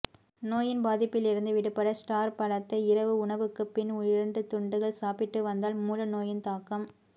நோயின் பாதிப்பிலிருந்து விடுபட ஸ்டார் பழத்தை இரவு உணவுக்குப் பின் இரண்டு துண்டுகள் சாப்பிட்டு வந்தால் மூல நோயின் தாக்கம்